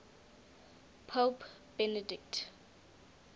pope benedict